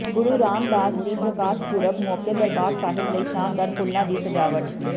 ਗੁਰੂ ਰਾਮਦਾਸ ਜੀ ਦੇ ਪ੍ਰਕਾਸ਼ ਪੁਰਬ ਮੌਕੇ ਦਰਬਾਰ ਸਾਹਿਬ ਲਈ ਸ਼ਾਨਦਾਰ ਫੁੱਲਾਂ ਦੀ ਸਜਾਵਟ